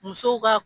Muso ka